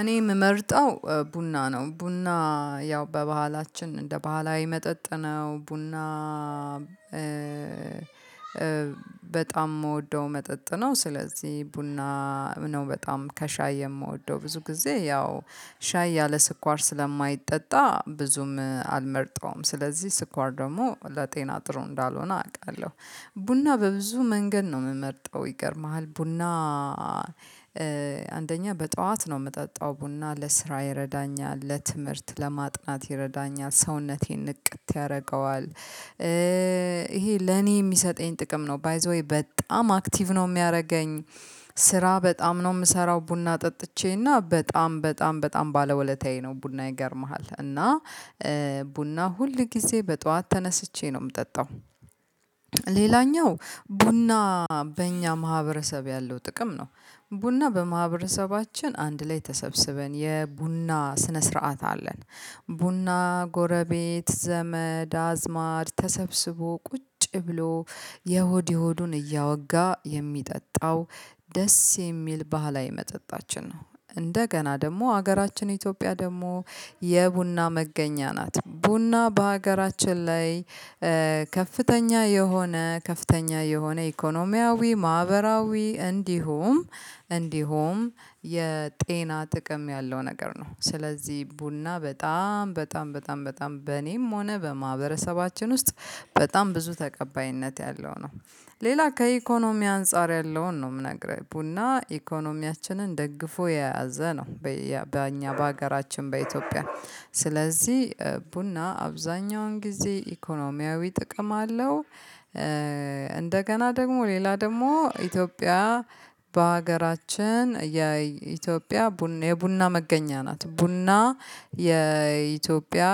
እኔ የምመርጠው ቡና ነው ቡና ያው በባህላችን እንደ ባህላዊ መጠጥ ነው ቡና በጣም የምወደው መጠጥ ነው። ስለዚህ ቡና ነው። በጣም ከሻይ የምወደው ብዙ ጊዜ ያው ሻይ ያለ ስኳር ስለማይጠጣ ብዙም አልመርጠውም ስለዚህ ስኳር ደግሞ ለጤና ጥሩ እንዳልሆነ አውቃለሁ። ቡና በብዙ መንገድ ነው የምመርጠው ይገርምሃል ቡና። አንደኛ በጠዋት ነው የምጠጣው ቡና ለስራ ይረዳኛል ለትምህርት ለማጥናት ይረዳኛል ሰውነቴን ንቅት ያደርገዋል። ይሄ ለኔ የሚሰጠኝ ጥቅም ነው ባይዘ ዌይ በጣም አክቲቭ ነው የሚያደርገኝ። ስራ በጣም ነው የምሰራው ቡና ጠጥቼ ርና በጣም በጣም በጣም ባለ ወለታዬ ነው ቡና ይገርምሃል እና ቡና ሁል ጊዜ በጧት ተነስቼ ነው የምጠጣው። ሌላኛው ቡና በእኛ ማህበረሰብ ያለው ጥቅም ነው ቡና በማህበረሰባችን አንድ ላይ ተሰብስበን የቡና ስነ ስርዓት አለን። ቡና ጎረቤት ዘመድ አዝማድ ተሰብስቦ ቁጭ ብሎ የሆድ የሆዱን እያወጋ የሚጠጣው ደስ የሚል ባህላዊ መጠጣችን ነው። እንደገና ደግሞ ሀገራችን ኢትዮጵያ ደግሞ የቡና መገኛ ናት። ቡና በሀገራችን ላይ ከፍተኛ የሆነ ከፍተኛ የሆነ ኢኮኖሚያዊ ማህበራዊ እንዲሁም እንዲሁም የጤና ጥቅም ያለው ነገር ነው። ስለዚህ ቡና በጣም በጣም በጣም በጣም በኔም ሆነ በማህበረሰባችን ውስጥ በጣም ብዙ ተቀባይነት ያለው ነው። ሌላ ከኢኮኖሚ አንፃር ያለውን ነው የምነግርህ ቡና ኢኮኖሚያችንን ደግፎ የያዘ ነው። በእኛ በሀገራችን በኢትዮጵያ ስለዚህ ቡና አብዛኛውን ጊዜ ኢኮኖሚያዊ ጥቅም አለው። እንደገና ደግሞ ሌላ ደግሞ ኢትዮጵያ በሀገራችን የኢትዮጵያ የቡና መገኛ ናት ቡና የኢትዮጵያ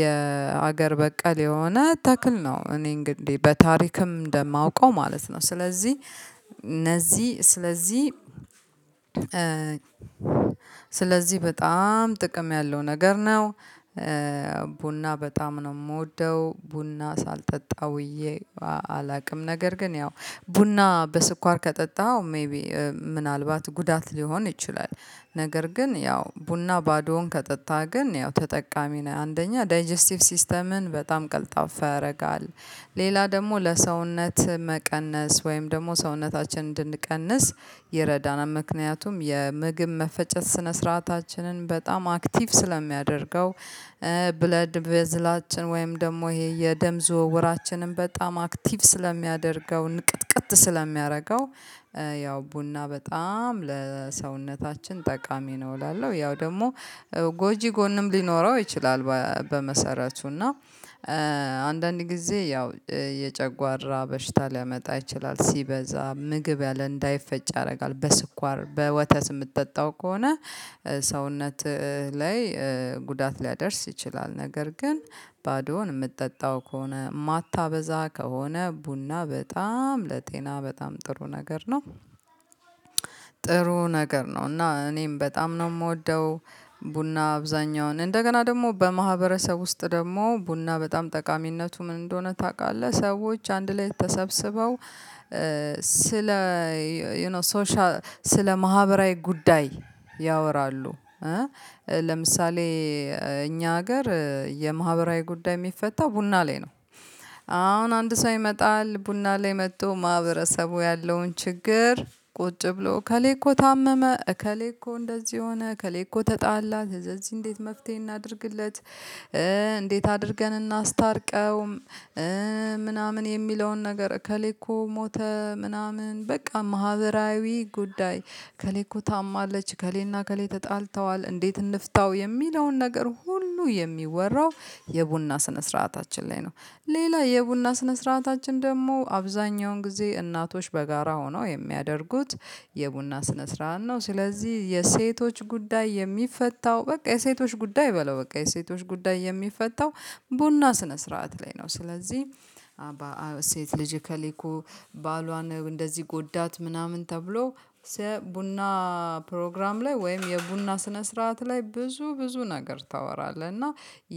የሀገር በቀል የሆነ ተክል ነው። እኔ እንግዲህ በታሪክም እንደማውቀው ማለት ነው። ስለዚህ እነዚህ ስለዚህ ስለዚህ በጣም ጥቅም ያለው ነገር ነው። ቡና በጣም ነው የምወደው ቡና ሳልጠጣ ውዬ አላውቅም። ነገር ግን ያው ቡና በስኳር ከጠጣኸው ሜይቢ ምናልባት ጉዳት ሊሆን ይችላል። ነገር ግን ያው ቡና ባዶውን ከጠጣህ ግን ያው ተጠቃሚ ነህ አንደኛ ዳይጀስቲቭ ሲስተምን በጣም ቀልጣፋ ያደርጋል። ሌላ ደግሞ ለሰውነት መቀነስ ወይም ደግሞ ሰውነታችን እንድንቀንስ የረዳናል ምክንያቱም የምግብ መፈጨት ስነ ስርዓታችንን በጣም አክቲቭ ስለሚያደርገው። ብለድ በዝላችን ወይም ደግሞ ይሄ የደም ዝውውራችንን በጣም አክቲቭ ስለሚያደርገው ንቅትቅት ስለሚያደርገው። ያው ቡና በጣም ለሰውነታችን ጠቃሚ ነው እላለሁ። ያው ደግሞ ጎጂ ጎንም ሊኖረው ይችላል በመሰረቱ እና አንዳንድ ጊዜ ያው የጨጓራ በሽታ ሊያመጣ ይችላል። ሲበዛ ምግብ ያለ እንዳይፈጭ ያደርጋል በስኳር በወተስ የምትጠጣው ከሆነ ሰውነትህ ላይ ጉዳት ሊያደርስ ይችላል። ነገር ግን ባዶውን የምትጠጣው ከሆነ ማታበዛ ከሆነ ቡና በጣም ለጤና በጣም ጥሩ ነገር ነው። ጥሩ ነገር ነው እና እኔም በጣም ነው የምወደው። ቡና አብዛኛውን እንደገና ደግሞ በማህበረሰብ ውስጥ ደግሞ ቡና በጣም ጠቃሚነቱ ምን እንደሆነ ታውቃለህ? ሰዎች አንድ ላይ ተሰብስበው ስለ ዩ ኖ ሶሻል ስለ ማህበራዊ ጉዳይ ያወራሉ። ለምሳሌ እኛ ሀገር የማህበራዊ ጉዳይ የሚፈታው ቡና ላይ ነው። አሁን አንድ ሰው ይመጣል ቡና ላይ መጥቶ ማህበረሰቡ ያለውን ችግር ቁጭ ብሎ ከሌኮ ታመመ እከሌኮ እንደዚህ ሆነ ከሌኮ ተጣላ ከዚህ እንዴት መፍትሄ እናድርግለት? እንዴት አድርገን እናስታርቀውም? ምናምን የሚለውን ነገር እከሌ እኮ ሞተ ምናምን በቃ ማህበራዊ ጉዳይ ከሌኮ ታማለች ከሌና ከሌ ተጣልተዋል እንዴት እንፍታው የሚለውን ነገር ሁሉ የሚወራው የቡና ስነ ስርዓታችን ላይ ነው። ሌላ የቡና ስነ ስርዓታችን ደግሞ አብዛኛውን ጊዜ እናቶች በጋራ ሆነው የሚያደርጉት የቡና ስነ ስርዓት ነው። ስለዚህ የሴቶች ጉዳይ የሚፈታው በቃ የሴቶች ጉዳይ በለው በቃ የሴቶች ጉዳይ የሚፈታው ቡና ስነ ስርዓት ላይ ነው። ስለዚህ ሴት ልጅ እኩኬ እኮ ባሏን እንደዚህ ጎዳት ምናምን ተብሎ ስለ ቡና ፕሮግራም ላይ ወይም የቡና ስነ ስርዓት ላይ ብዙ ብዙ ነገር ታወራለህ? እና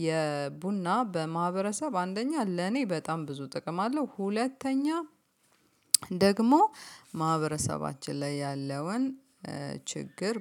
የቡና በማህበረሰብ አንደኛ ለኔ በጣም ብዙ ጥቅም አለው ሁለተኛ ደግሞ ማህበረሰባችን ላይ ያለውን ችግር